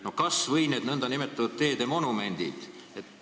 No kas või need nn teede monumendid.